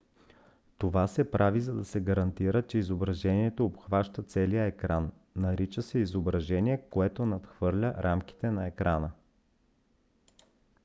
това се прави за да се гарантира че изображението обхваща целия екран. нарича се изображение което надхвърля рамките на екрана